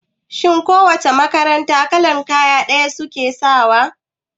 Shin ko wace makaranta kalan kaya ɗaya suke sawa?